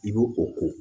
I bɛ o ko